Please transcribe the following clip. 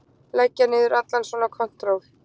Leggja niður allan svona kontról.